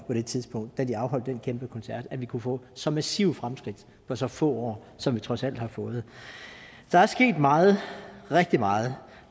det tidspunkt da de afholdt den kæmpe koncert at vi kunne få så massive fremskridt på så få år som vi trods alt har fået der er sket meget rigtig meget